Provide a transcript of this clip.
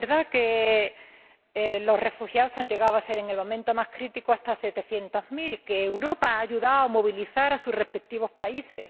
Es verdad que los refugiados han llegado a ser, en el momento más crítico, hasta setecientos mil, y que Europa ha ayudado a movilizar a sus respectivos países.